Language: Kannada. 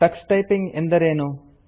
ಟಕ್ಸ್ ಟೈಪಿಂಗ್ ಎಂದರೇನು